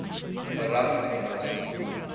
baragwanath